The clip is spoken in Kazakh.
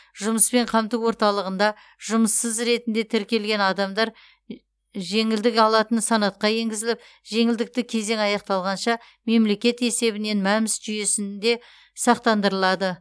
жұмыспен қамту орталығында жұмыссыз ретінде тіркелген адамдар жеңілдік алатын санатқа енгізіліп жеңілдікті кезең аяқталғанша мемлекет есебінен мәмс жүйесінде сақтандырылады